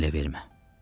Məni ələ vermə.